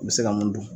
U bɛ se ka mun dun